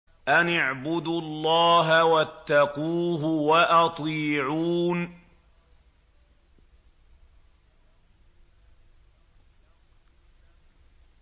أَنِ اعْبُدُوا اللَّهَ وَاتَّقُوهُ وَأَطِيعُونِ